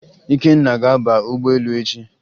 Ikenna ga-aba ụgbọelu echi